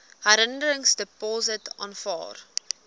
herwinningsdepots aanvaar